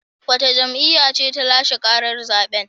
Wace jam'iyya ce ta lashe karar zaben?